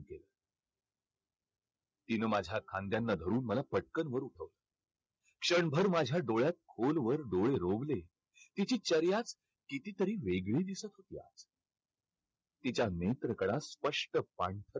तिनं माझ्या खांद्यांना धरून मला पटकन वर क्षणभर माझ्या डोळ्यात खोलवर डोळे रोवले. तिची कितीतरी वेगळी दिसत होती. तिच्या नेत्रकळा स्पष्ट